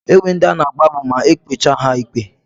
E nwere ndi a na-agbagbu ma e kpechaa ha ikpe.